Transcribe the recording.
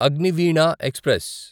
Agniveena express